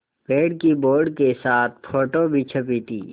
पेड़ की बोर्ड के साथ फ़ोटो भी छपी थी